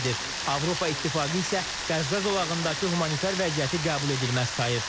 Avropa İttifaqı isə Qəzza zolağındakı humanitar vəziyyəti qəbul edilməz sayır.